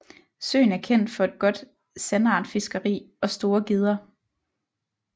Søen er kendt for et godt sandartfiskeri og store gedder